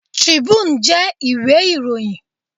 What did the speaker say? Tribune jẹ́ ìwé ìròyìn.